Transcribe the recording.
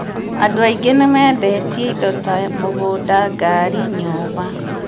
andũ aingĩ nimendetie indo ta mũgũnda, ngari, nyũmba